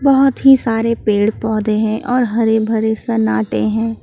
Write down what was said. बहोत ही सारे पेड़ पौधे हैं और हरे भरे सन्नाटे हैं।